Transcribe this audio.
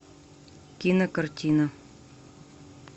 кинокартина